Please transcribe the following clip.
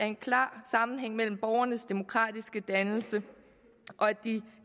en klar sammenhæng mellem borgernes demokratiske dannelse og at de